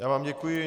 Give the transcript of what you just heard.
Já vám děkuji.